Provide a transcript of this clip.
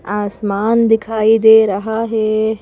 आसमान दिखाई दे रहा है।